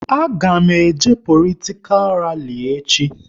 A ga m eje politikal rali echi